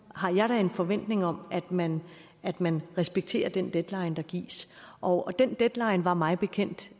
har jeg en forventning om at man at man respekterer den deadline der gives og den deadline var mig bekendt